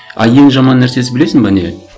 а ең жаман нәрсесі білесің бе не